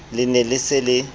le ne le se le